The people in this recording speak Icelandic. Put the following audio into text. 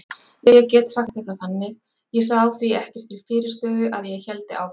Ég get sagt þetta þannig: Ég sá því ekkert til fyrirstöðu að ég héldi áfram.